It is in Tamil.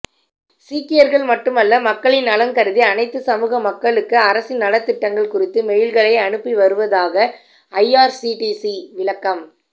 சீக்கியர்கள் மட்டுமல்ல மக்களின் நலன்கருதி அனைத்து சமூக மக்களுக்கு அரசின் நலத்திட்டங்கள் குறித்து மெயில்களை அனுப்பி வருவதாக ஐஆர்சிடிசி விளக்கம்